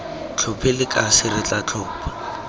tlhophe lekase re tla tlhopha